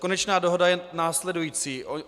Konečná dohoda je následující.